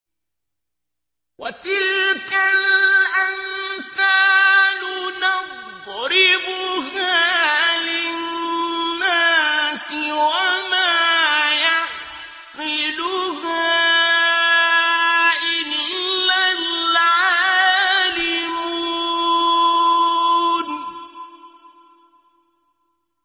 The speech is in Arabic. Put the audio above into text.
وَتِلْكَ الْأَمْثَالُ نَضْرِبُهَا لِلنَّاسِ ۖ وَمَا يَعْقِلُهَا إِلَّا الْعَالِمُونَ